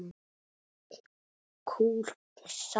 KOL SALT